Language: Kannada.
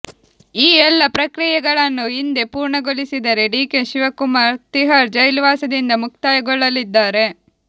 ಈ ಎಲ್ಲಾ ಪ್ರಕ್ರಿಯೆಗಳನ್ನು ಇಂದೇ ಪೂರ್ಣಗೊಳಿಸಿದರೆ ಡಿಕೆ ಶಿವಕುಮಾರ್ ತಿಹಾರ್ ಜೈಲುವಾಸದಿಂದ ಮುಕ್ತಗೊಳ್ಳಲಿದ್ದಾರೆ